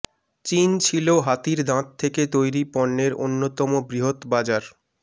চীন ছিল হাতির দাঁত থেকে তৈরি পণ্যের অন্যতম বৃহৎ বাজার